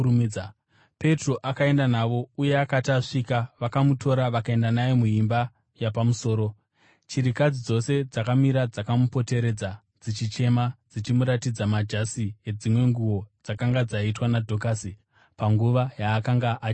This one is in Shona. Petro akaenda navo, uye akati asvika, vakamutora vakaenda naye muimba yapamusoro. Chirikadzi dzose dzakamira dzakamupoteredza, dzichichema dzichimuratidza majasi nedzimwe nguo dzakanga dzaitwa naDhokasi panguva yaakanga achinavo.